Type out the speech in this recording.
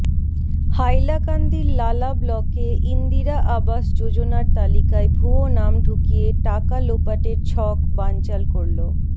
হাইলাকান্দির লালা ব্লকে ইন্দিরা আবাস যোজনার তালিকায় ভুয়ো নাম ঢুকিয়ে টাকা লোপাটের ছক বানচাল করল